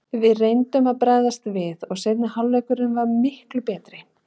Við reyndum að bregðast við og seinni hálfleikurinn var miklu betri.